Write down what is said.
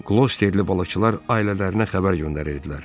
Glosterli balıqçılar ailələrinə xəbər göndərirdilər.